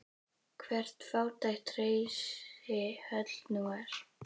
Hvert fátækt hreysi höll nú er.